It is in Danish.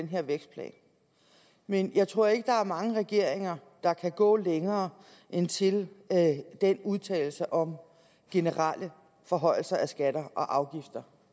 her vækstplan men jeg tror ikke der er mange regeringer der kan gå længere end til den udtalelse om generelle forhøjelser af skatter og afgifter